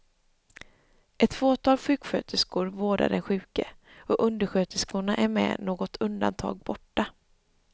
Ett fåtal sjuksköterskor vårdar den sjuke och undersköterskorna är med något undantag borta.